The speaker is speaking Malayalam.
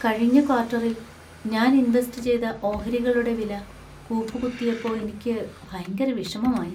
കഴിഞ്ഞ ക്വാർട്ടറിൽ ഞാൻ ഇൻവെസ്റ്റ് ചെയ്ത ഓഹരികളുടെ വില കൂപ്പുകുത്തിയപ്പോ എനിക്ക് ഭയങ്കര വിഷമമായി .